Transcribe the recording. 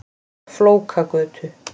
Flókagötu